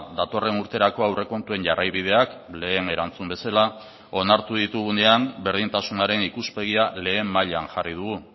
datorren urterako aurrekontuen jarraibideak lehen erantzun bezala onartu ditugunean berdintasunaren ikuspegia lehen mailan jarri dugu